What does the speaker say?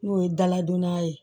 N'o ye daladonna ye